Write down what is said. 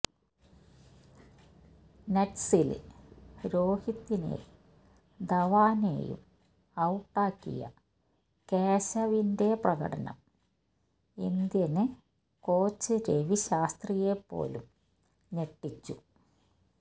നെറ്റ്സില് രോഹിത്തിനെയും ധവാനെയും ഔട്ടാക്കിയ കേശവിന്റെ പ്രകടനം ഇന്ത്യന് കോച്ച് രവി ശാസ്ത്രിയെപ്പോലും ഞെട്ടിച്ചു